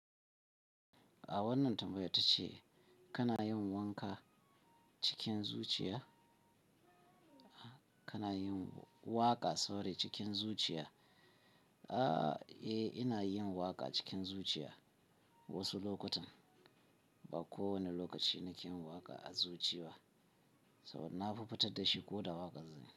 A wannan tambayar tace kana yin wanka cikin zuciya? Kana yin waƙa sorry cikin zuciya? Eh, ina yin waƙa cikin zuciya wasu lokutan. Bako wane lokaci nake yi waƙa a zuci ba. So na fi fitad da shi ko da waƙan zai.